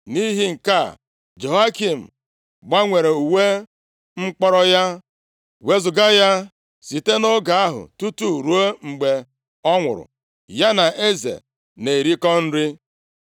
Nʼihi nke a, Jehoiakin gbanwere uwe mkpọrọ ya, wezuga ya. Sitekwa nʼoge ahụ, tutu ruo mgbe ọ nwụrụ, ya na eze na-erikọ nri.